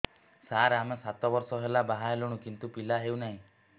ସାର ଆମେ ସାତ ବର୍ଷ ହେଲା ବାହା ହେଲୁଣି କିନ୍ତୁ ପିଲା ହେଉନାହିଁ